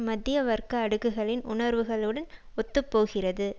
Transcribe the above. மத்திய வர்க்க அடுக்குகளின் உணர்வுகளோடு ஒத்து போகிறது